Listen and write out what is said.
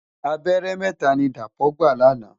Àbèrè mètá ni Dapo gbá làná